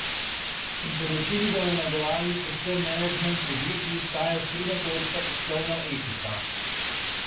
S priporočili bomo nagovarjali predvsem menedžment podjetij, saj je osrednja točka poslovna etika.